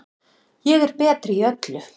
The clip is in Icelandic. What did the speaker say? Ég er betri í öllu.